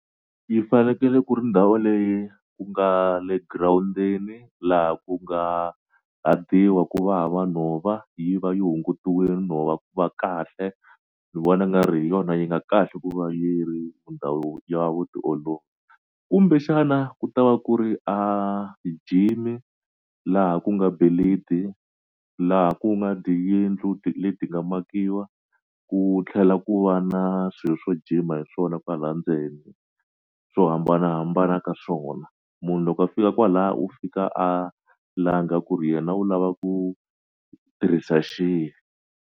Yi fanekele ku ri ndhawu leyi ku nga le girawundini laha ku nga hadiwa ku va hava nhova yi va yi hungutiwile nhova va kahle kahle ni vona nga ri hi yona yi nga kahle ku va yi ri ndhawu ya kumbexana ku ta va ku ri a ti-gym laha ku nga laha ku nga diyindlu le di nga makiwa ku tlhela ku va na swilo swo jima hi swona kwala ndzeni swo hambanahambana ka swona munhu loko a fika kwala u fika a langa ku ri yena u lava ku tirhisa xihi.